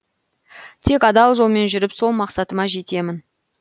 тек адал жолмен жүріп сол мақсатыма жетемін